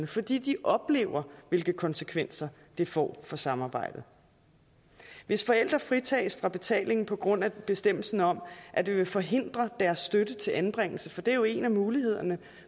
fordi de oplever hvilke konsekvenser det får for samarbejdet hvis forældre fritages for betaling på grund af bestemmelsen om at det ville forhindre deres støtte til anbringelse for det er jo en af mulighederne